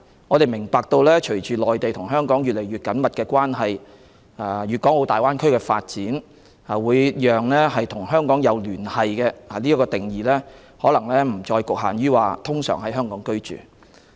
我們明白隨着香港和內地的關係越趨緊密及粵港澳大灣區的發展，會使"有與香港保持聯繫"的定義不再局限於"通常在香港居住"。